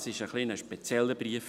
Es war ein etwas spezieller Brief.